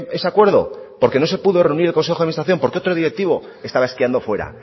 ese acuerdo porque no se pudo reunir el consejo de administración porque otro directivo estaba esquiando fuera